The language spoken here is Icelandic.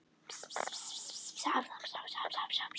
Þessar niðurstöður koma heim og saman við erlendar mælingar.